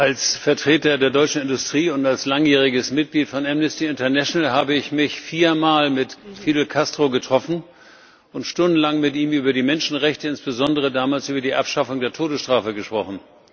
Als Vertreter der deutschen Industrie und als langjähriges Mitglied von Amnesty International habe ich mich viermal mit Fidel Castro getroffen und stundenlang mit ihm über die Menschenrechte, insbesondere damals über die Abschaffung der Todesstrafe, gesprochen.